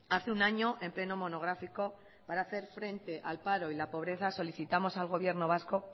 hace un año en pleno monográfico para hacer frente al paro y a la pobreza solicitamos al gobierno vasco